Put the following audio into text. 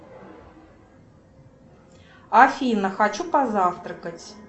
афина хочу позавтракать